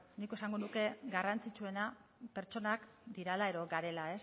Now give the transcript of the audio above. nik esango nuke garrantzitsuena pertsonak direla edo garela